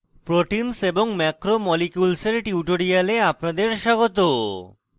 proteins এবং macromolecules এর tutorial আপনাদের স্বাগত